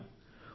విన్నాం